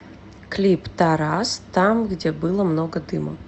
клип тарас там где было много дыма